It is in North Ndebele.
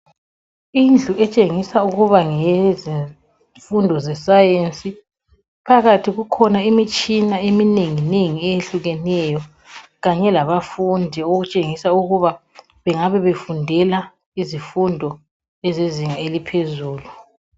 Indlu etshengisa ukuba ngeyezifundo zesayensi. Phakathi kukhona imitshina eminengi nengi ehlukeneyo. Kanye labafundi okutshengisa ukuba banga befundela izifundo zezinga laphezulu.